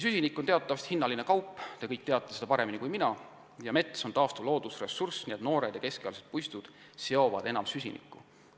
Süsinik on teatavasti hinnaline kaup – te kõik teate seda paremini kui mina – ja mets on taastuv loodusressurss, kus noored ja keskealised puistud seovad enim süsinikku.